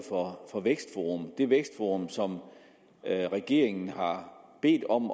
af vækstforum det vækstforum som regeringen har bedt om